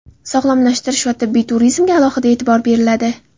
Sog‘lomlashtirish va tibbiy turizmga alohida etibor beriladi.